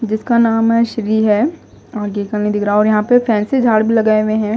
जिसका नाम है श्री है आगे का नही दिख रहा और यहां पे फैंसी झाड़ भी लगाए हुए हैं।